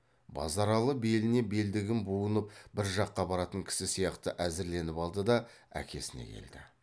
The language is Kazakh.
базаралы беліне белдігін буынып бір жаққа баратын кісі сияқты әзірленіп алды да әкесіне келді